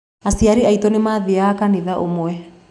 Aciari aitũ nĩ maathiaga kanitha ũmwe.